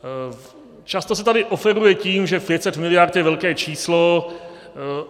Často se tady operuje tím, že 500 mld. je velké číslo.